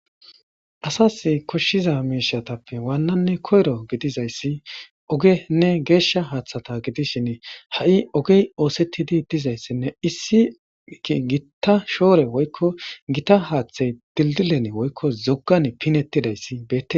Asas koshshiza miishatappe waannanne koyro gidizayssi ogenne geeshsha haaththata gidishin ha'i ogey oosettidi dizayssinne issii gitta shoore woykko gita haaththay dildilene woykko zoggan pinetti dayssibee.